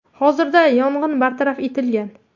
Hozirda yong‘in bartaraf etilgan.